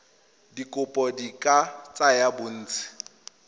dikopo di ka tsaya bontsi